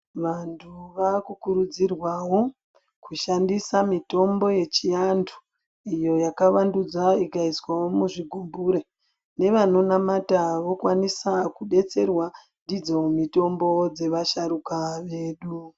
Vantu vakukurudzirwawo kushandisa mitombo yechiantu iyo yakavandudza ikaiswawo muchigibhure ,nevanonamata vakukwanisa kudetserwa ndidzo mitombo dzevasharuka vedu.